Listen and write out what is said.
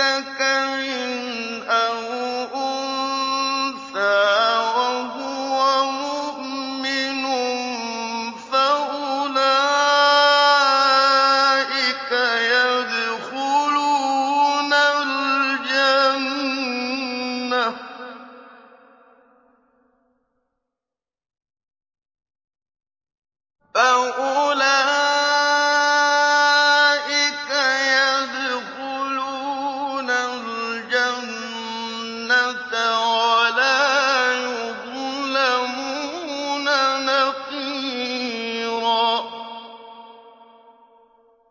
ذَكَرٍ أَوْ أُنثَىٰ وَهُوَ مُؤْمِنٌ فَأُولَٰئِكَ يَدْخُلُونَ الْجَنَّةَ وَلَا يُظْلَمُونَ نَقِيرًا